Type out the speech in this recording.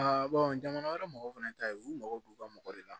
jamana wɛrɛ mɔgɔw fɛnɛ ta ye u mago b'u ka mɔgɔ de la